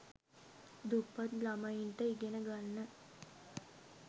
දුප්පත් ලමයින්ට ඉගෙන ගන්න